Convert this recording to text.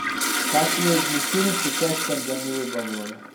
последний фильм с участием данилы багрова